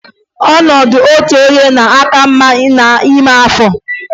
Ọnọdụ otu onye na-aka mma naanị n'ime afọ.